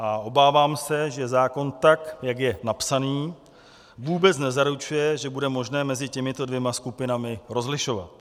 A obávám se, že zákon, tak jak je napsaný, vůbec nezaručuje, že bude možné mezi těmito dvěma skupinami rozlišovat.